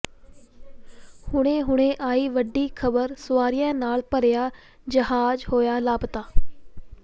ਹੁਣੇ ਹੁਣੇ ਆਈ ਵੱਡੀ ਖਬਰ ਸਵਾਰੀਆਂ ਨਾਲ ਭਰਿਆ ਜਹਾਜ਼ ਹੋਇਆ ਲਾਪਤਾ